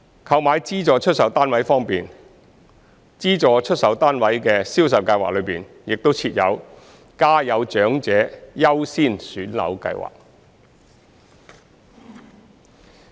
購買資助出售單位方面，資助出售單位的銷售計劃中亦設有家有長者優先選樓計劃。